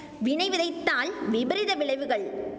வினை விதைத்தால் விபரீத விளைவுகள்